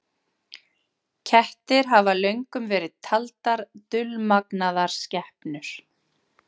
Kettir hafa löngum verið taldar dulmagnaðar skepnur.